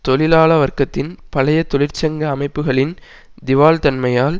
தொழிலாள வர்க்கத்தின் பழைய தொழிற்சங்க அமைப்புக்களின் திவால்தன்மையால்